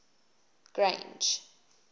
grange